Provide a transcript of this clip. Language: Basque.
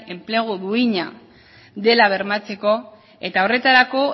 enplegua duina dela bermatzeko eta horretarako